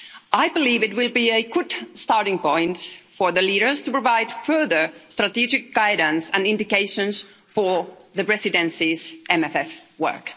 I believe it will be a good starting point for the leaders to provide further strategic guidance and indications for the Presidency's MFF work.